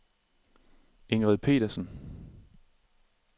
Ingrid Petersen